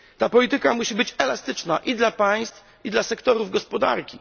Ta polityka musi być elastyczna i dla państw, i dla sektorów gospodarki